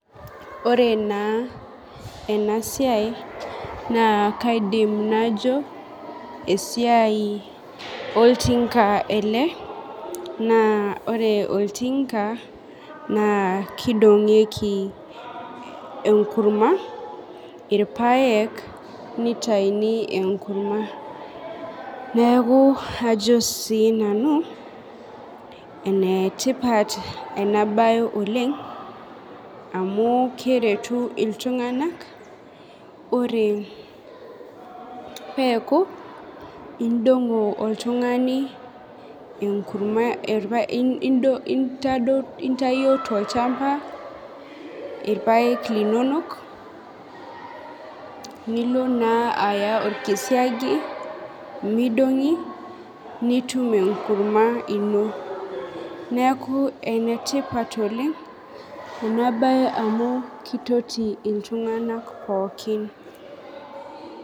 Ore naa enasiai, naa kaidim najo, esiai oltinka ele, naa ore oltinka, naa kidong'ieki enkurma, irpaek, nitayuni enkurma. Neeku ajo si nanu, enetipat enabae oleng, amu keretu iltung'anak, ore peeku idong'o oltung'ani enkurma intayio tolchamba irpaek linonok, nilo naa aya orkisiagi midong'i, nitum enkurma ino. Neeku enetipat oleng enabae amu kitoti iltung'anak pookin.